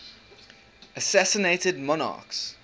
assassinated monarchs